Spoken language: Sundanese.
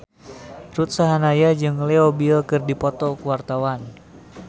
Ruth Sahanaya jeung Leo Bill keur dipoto ku wartawan